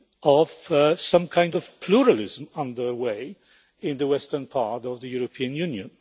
of some kind of pluralism underway in the western part of the European Union.